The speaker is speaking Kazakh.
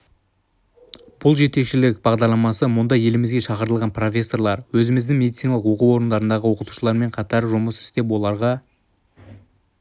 бұл жетекшілік бағдарламасы мұнда елімізге шақыртылған профессорлар өзіміздің медициналық оқу орындарындағы оқытушылармен қатар жұмыс істеп оларға